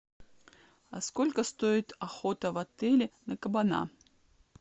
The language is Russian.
а сколько стоит охота в отеле на кабана